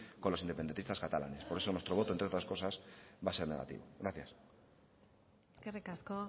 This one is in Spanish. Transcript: con los independentistas catalanes por eso nuestro voto entre otras cosas va a ser negativo gracias eskerrik asko